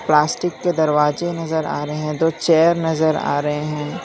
Plastic के दरवाजे नजर आ रहे हैं और दो चेयर नजर आ रहे हैं।